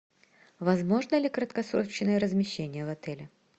возможно ли краткосрочное размещение в отеле